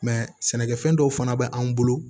sɛnɛkɛfɛn dɔw fana bɛ an bolo